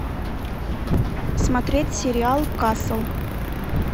смотреть сериал касл